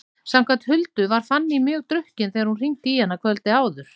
Samkvæmt Huldu var Fanný mjög drukkin þegar hún hringdi í hana kvöldið áður.